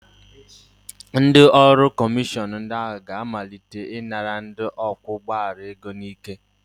Ndị ọrụ kọmishọn ndị a ga-amalite ịnara ndị ọkwọ ụgbọala ego n'ike